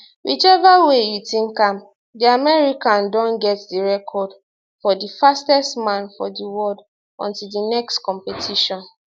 whichever way you tink am di american don get di record for di fastest man for di world until di next competition